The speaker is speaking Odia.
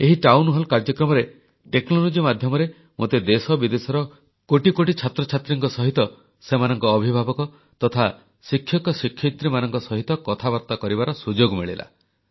ଏହି ଟାଉନ୍ ହଲ୍ କାର୍ଯ୍ୟକ୍ରମରେ ଟେକ୍ନୋଲୋଜି ମାଧ୍ୟମରେ ମୋତେ ଦେଶ ବିଦେଶର କୋଟି କୋଟି ଛାତ୍ରଛାତ୍ରୀ ସେମାନଙ୍କ ଅଭିଭାବକ ତଥା ଶିକ୍ଷକ ଶିକ୍ଷୟିତ୍ରୀମାନଙ୍କ ସହ କଥାବାର୍ତ୍ତା କରିବାର ସୁଯୋଗ ମିଳିଲା